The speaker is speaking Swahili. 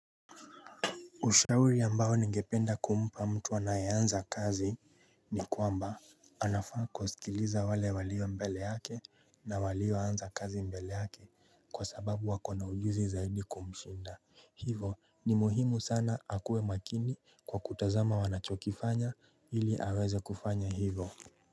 Ushauri ambao ningependa kumpa mtu anayeanza kazi ni kwamba anafaa kusikiliza wale walio mbele yake na walio anza kazi mbele yake kwa sababu wakona ujuzi zaidi kumshinda Hivo ni muhimu sana akuwe makini kwa kutazama wanachokifanya ili aweze kufanya hivo.